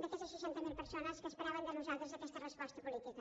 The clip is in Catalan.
d’aquestes seixanta mil persones que esperaven de nosaltres aquesta resposta política